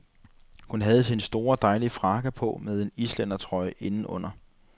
Hun havde sin dejlige store frakke på med en islændertrøje indenunder.